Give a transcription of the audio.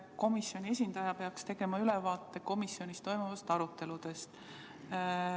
Komisjoni esindaja peaks tegema ülevaate komisjonis toimunud aruteludest.